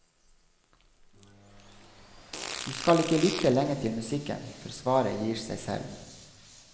Du skal ikke lytte lenge til musikken, før svaret gir seg selv.